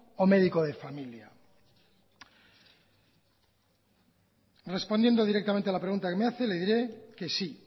o médico de familia respondiendo directamente a la pregunta que me hace le diré que sí